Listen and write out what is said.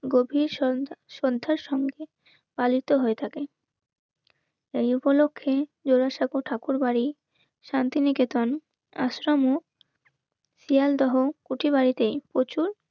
গভীর শ্রদ্ধার সঙ্গে পালিত হয়ে থাকি এই উপলক্ষে জোড়াসাঁকো ঠাকুরবাড়ি শান্তিনিকেতন আশ্রমও শিয়ালদহ উঠি বাড়িতেই প্রচুর